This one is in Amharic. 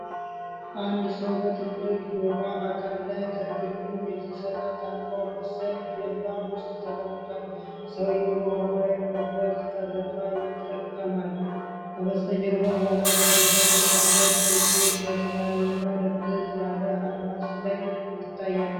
አንድ ሰው በትልቅ የውሃ አካል ላይ ከግንዱ የተሰራ ታንኳ መሰል ጀልባ ውስጥ ተቀምጧል። ሰውየው በውሃው ላይ ለመጓዝ ቀዘፋ ይጠቀማል። ከበስተጀርባው አረንጓዴ ዛፎች ያሏት ደሴት በሰማያዊና ድብዘዝ ያለ አድማስ ላይ ትታያለች።